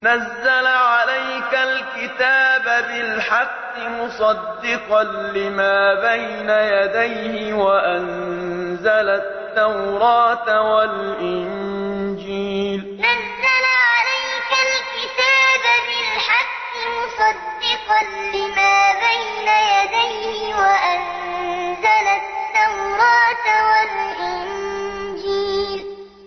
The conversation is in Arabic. نَزَّلَ عَلَيْكَ الْكِتَابَ بِالْحَقِّ مُصَدِّقًا لِّمَا بَيْنَ يَدَيْهِ وَأَنزَلَ التَّوْرَاةَ وَالْإِنجِيلَ نَزَّلَ عَلَيْكَ الْكِتَابَ بِالْحَقِّ مُصَدِّقًا لِّمَا بَيْنَ يَدَيْهِ وَأَنزَلَ التَّوْرَاةَ وَالْإِنجِيلَ